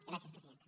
gràcies presidenta